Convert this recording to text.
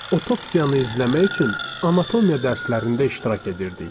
Otopsiyanı izləmək üçün anatomiya dərslərində iştirak edirdik.